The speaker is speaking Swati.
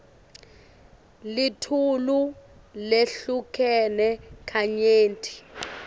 litulu lehlukene kanyenti